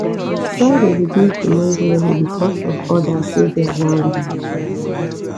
try de reduce di noise level because of others wey de around you